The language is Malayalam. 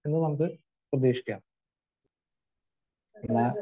എന്ന് നമുക്ക് പ്രതീക്ഷിക്കാം. പിന്നെ